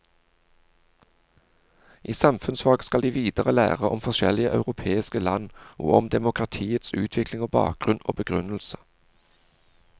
I samfunnsfag skal de videre lære om forskjellige europeiske land og om demokratiets utvikling og bakgrunn og begrunnelse.